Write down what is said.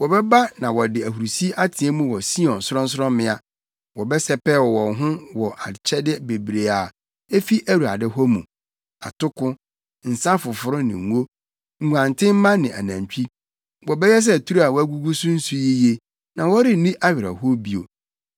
Wɔbɛba na wɔde ahurusi ateɛ mu wɔ Sion sorɔnsorɔmmea; wɔbɛsɛpɛw wɔn ho wɔ akyɛde bebrebe a efi Awurade hɔ mu, atoko, nsa foforo ne ngo, nguantenmma ne anantwi. Wɔbɛyɛ sɛ turo a wɔagugu so nsu yiye, na wɔrenni awerɛhow bio.